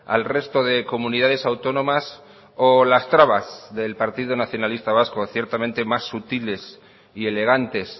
al resto de comunidades autónomas o las trabas del partido nacionalista vasco ciertamente más sutiles y elegantes